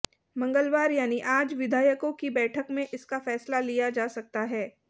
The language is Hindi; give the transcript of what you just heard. मंगलवार यानि आज विधायकों की बैठक में इसका फैसला लिया जा सकता है